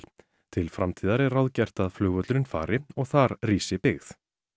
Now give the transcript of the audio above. til framtíðar er ráðgert að flugvöllurinn fari og þar rísi byggð